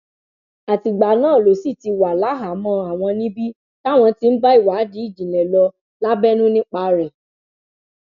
àtìgbà náà ló sì ti wà láhàámọ àwọn níbi táwọn ti ń bá ìwádìí ìjìnlẹ lọ lábẹnú nípa rẹ